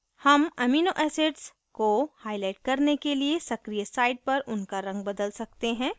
हम amino acids को highlight करने के लिए सक्रिय site पर उनका रंग बदल सकते हैं